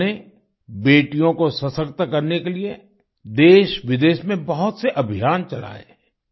उन्होंने बेटियों को सशक्त करने के लिए देशविदेश में बहुत से अभियान चलाए